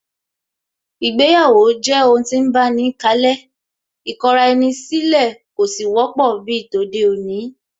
Ìgbéyàwó jẹ́ ohun tí ń báni kalẹ́, ìkọra-ẹni-sílẹ̀ kò sì wọ́pọ̀ bíi tòde-òní